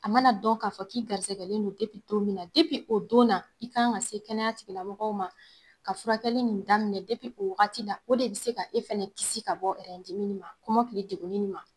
A mana dɔn k'a fɔ k'i garisɛgɛlen don min na o don na i ka kan ka se kɛnɛya tigɛlabagaw ma k'a furakɛli nin daminɛ o wagati la, o de bɛ se ka e fana kisi ka bɔ dimi ma kɔmɔkili degun ma.